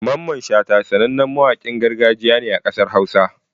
Mamman Shata sanannen mawaƙin gargajiya ne a garin hausa.